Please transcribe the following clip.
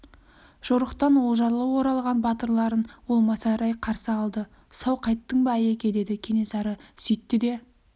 жорықтан олжалы оралған батырларын ол масайрай қарсы алды сау қайттың ба айеке деді кенесары сөйтті де